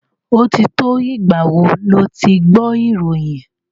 Ó ti tó ìgbà wo lo ti gbọ́ ìròyìn?